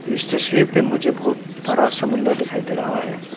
इस तस्वीर पे मुझे बहुत बड़ा समुद्र दिखा दे रहा है।